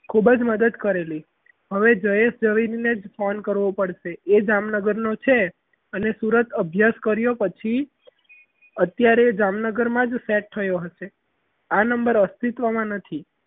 ખૂબ જ મદદ કરેલી હવે જયેશ ઝવેરીને જ phone કરવો પડશે એ જામનગરનો છે અને સુરત અભ્યાસ કર્યો પછી અત્યારે જામનગરમાં જ set થયો હશે આ number અસ્તિત્વમાં નથી.